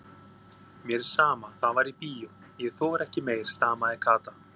Mér er sama, það var í bíó, ég þori ekki meir stamaði Kata.